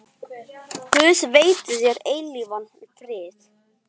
Guð veiti þér eilífan frið.